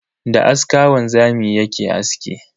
Da aska wanzami yake aski.